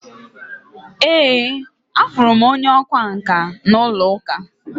Ee, Afurum onye ọkwá nkà na ulo-uka